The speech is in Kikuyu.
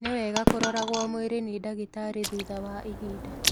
Ni wega kuroragwo mwĩrĩ ni ndagĩtarĩ thutha wa ihinda